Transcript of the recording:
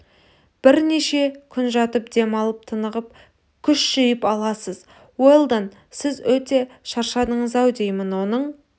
бірнеше күн жатып дем алып тынығып күш жиып аласыз уэлдон сіз өте шаршадыңыз-ау деймін оның